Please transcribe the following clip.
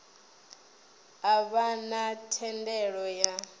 a vha na thendelo ya